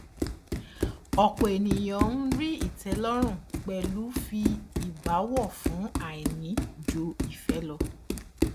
ọpọ ènìyàn ń rí ìtẹlọrun pẹlú fi ìbáwọ fún àìní ju ìfẹ lọ